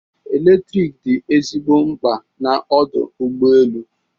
Eletrik dị ezigbo mkpa n'ọdụ ụgbọ elu.